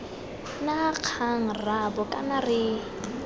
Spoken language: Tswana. na kgang rraabo kana re